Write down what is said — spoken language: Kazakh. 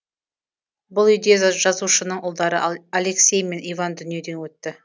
бұл үйде жазушының ұлдары алексей мен иван дүниеден өтті